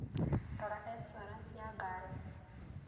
Rora ĩncũarance ya ngarĩ.